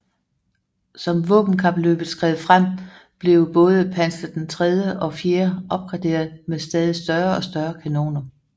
Som våbenkapløbet skred frem blev både Panzer III og IV opgraderet med stadig større og større kanoner